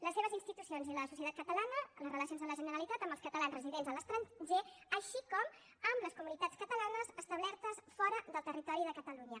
les seves institucions i la societat catalana les relacions amb la generalitat amb els catalans residents a l’estranger així com amb les comunitats catalanes establertes fora del territori de catalunya